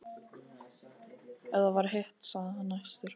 Ef það var hitt, sagði hann æstur: